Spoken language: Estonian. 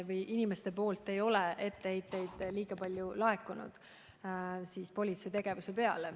Ometi inimestelt ei ole etteheiteid politsei tegevuse kohta kuigi palju laekunud.